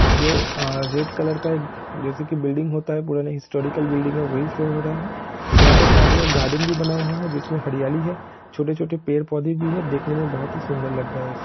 जो अ red colour का एक जैसे की बिल्डिंग होता है पुराना हिस्टोरीकल बिल्डिंग है वही शो हो रहा है यहा पे सामने एक गार्डन भी बना हुआ है जिसमे हरियाली है छोटे-छोटे पेड़ पौधे भी है देखने मे बहुत ही सुंदर लग रहा है इस--